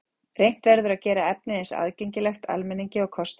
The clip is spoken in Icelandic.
Reynt verður að gera efnið eins aðgengilegt almenningi og kostur er.